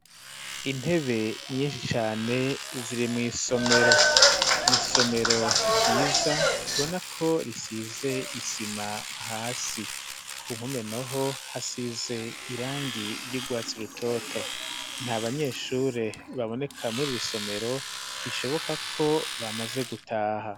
Intebe nyinshishane ziri mw'isomero ni isomero ryiza, tubona ko risize isima hasi. Ku mpume naho, hasize irangi ry'urwatsi rutoto. Nta banyeshure baboneka muri iri somero, bishoboka ko bamaze gutaha.